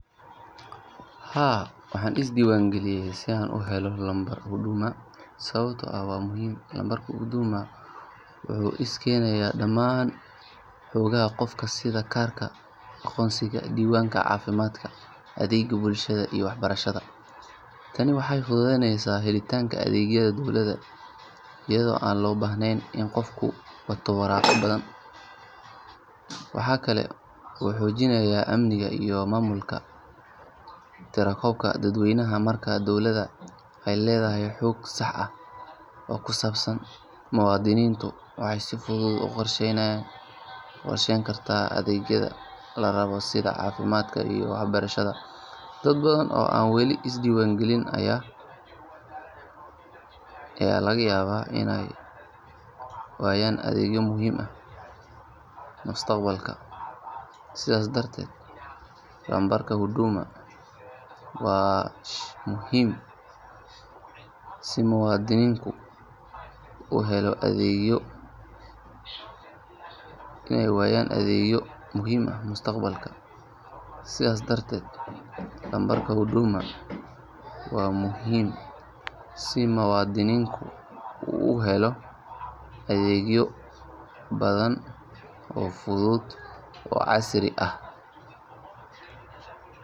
Haa waxaan isdiiwaangeliyay si aan u helo lambarka Huduma sababtoo ah waa muhiim. Lambarka Huduma wuxuu isu keenayaa dhammaan xogaha qofka sida kaarka aqoonsiga, diiwaanka caafimaadka, adeegyada bulshada iyo waxbarasho. Tani waxay fududeyneysaa helitaanka adeegyada dowladda iyadoo aan loo baahnayn in qofku wato waraaqo badan. Waxa kale oo uu xoojinayaa amniga iyo maamulka tirakoobka dadweynaha. Marka dowladda ay leedahay xog sax ah oo ku saabsan muwaadiniinta waxay si fudud u qorsheyn kartaa adeegyada la rabo sida caafimaadka iyo waxbarashada. Dad badan oo aan weli isdiiwaangalin ayaa laga yaabaa inay waayaan adeegyo muhiim ah mustaqbalka. Sidaas darteed lambarka Huduma waa muhiim si muwaadinku u helo adeegyo badan oo fudud oo casri ah.